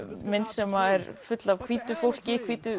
mynd sem er full af hvítu fólki hvítu